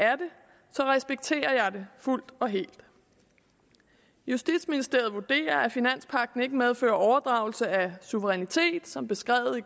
det respekterer jeg det fuldt ud og helt justitsministeriet vurderer at finanspagten ikke medfører overdragelse af suverænitet som beskrevet i